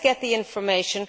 Let us get the information.